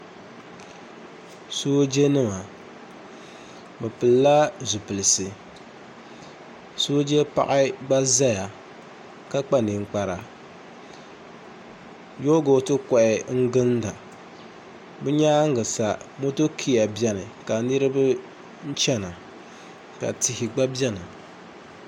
soojanima bɛ pilila zipilisi sooja paɣa gba zaya ka kpa ninkpara yoogooti kɔha n-ginda bɛ nyaaŋa sa motokia beni ka niriba chana ka tihi gba beni